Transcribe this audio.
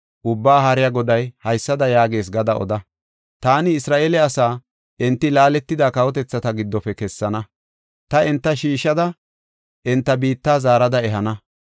Ubbaa Haariya Goday haysada yaagees gada oda. Taani Isra7eele asaa enti laaletida kawotethata giddofe kessana; ta enta shiishada, enta biitta zaarada ehana.